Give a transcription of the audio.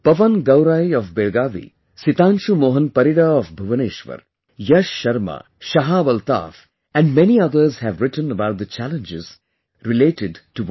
PawanGaurai of Belagavi, Sitanshu Mohan Parida of Bhubaneswar, Yash Sharma, ShahabAltaf and many others have written about the challenges related with water